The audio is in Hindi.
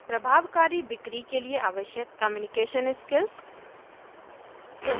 प्रभावकारी बिक्री के लिए आवश्यक कम्यूनिकेशन स्किल्स